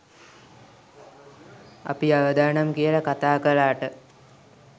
අපි අවදානම් කියලා කතා කළාට